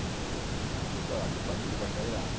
Eu não fiz doutorado, não passei de bacharelado.